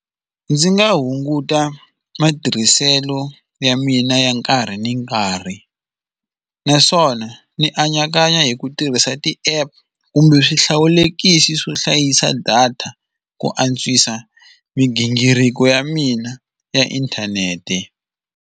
Ndzi nga hunguta matirhiselo ya mina ya nkarhi ni nkarhi, naswona ndzi anakanya hi ku tirhisa ti-app kumbe swihlawulekisi swo hlayisa data ku antswisa migingiriko ya mina ya inthanete.